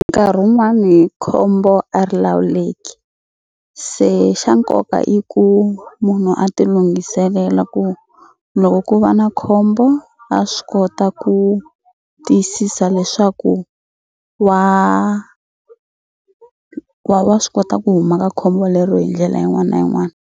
Nkarhi wun'wani khombo a ri lawuleki se xa nkoka i ku munhu a ti lunghiselela ku loko ku va na khombo a swi kota ku tiyisisa leswaku wa wa wa swi kota ku huma ka khombo lero hi ndlela yin'wana na yin'wana.